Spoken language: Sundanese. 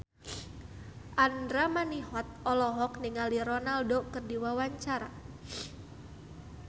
Andra Manihot olohok ningali Ronaldo keur diwawancara